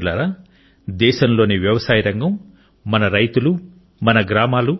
మిత్రులారా దేశంలోని వ్యవసాయ రంగం మన రైతులు మన గ్రామాలు